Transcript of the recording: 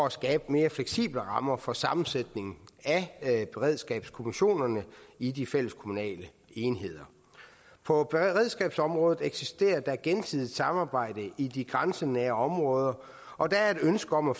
at skabe mere fleksible rammer for sammensætningen af beredskabskommissionerne i de fælleskommunale enheder på beredskabsområdet eksisterer der et gensidigt samarbejde i de grænsenære områder og der er et ønske om at